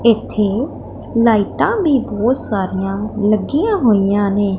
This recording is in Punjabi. ਇਥੇ ਲਾਇਟਾ ਵੀ ਬਹੁਤ ਸਾਰੀਆਂ ਲੱਗੀਆਂ ਹੋਈਆਂ ਨੇ।